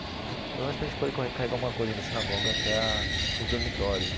Pelo menos para a gente poder carregar alguma coisa da sinagoga até a os dormitórios.